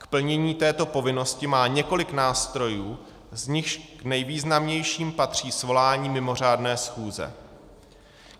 K plnění této povinnosti má několik nástrojů, z nichž k nejvýznamnějším patří svolání mimořádné schůze.